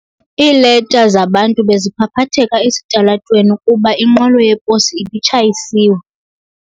Iileta zabantu beziphaphatheka esitalatweni kuba inqwelo yeposi ibitshayisiwe.